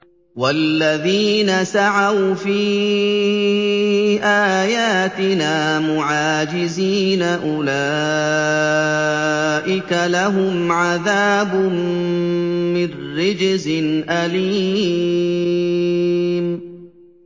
وَالَّذِينَ سَعَوْا فِي آيَاتِنَا مُعَاجِزِينَ أُولَٰئِكَ لَهُمْ عَذَابٌ مِّن رِّجْزٍ أَلِيمٌ